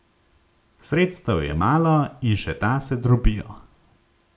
Sredstev je malo, in še ta se drobijo.